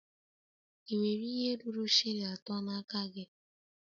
Ị nwere ihe ruru shilling atọ n'aka gị?